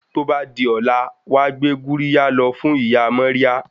Tó bá di ọ̀la, wàá gbé Gurjiya lọ fún ìyá Maria